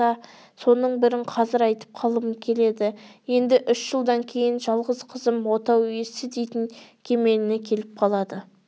соның бірін қазір айтып қалғым келеді енді үш жылдан кейін жалғыз қызым отау иесі дейтін кемеліне келіп қалады